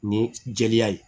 Ni jeliya ye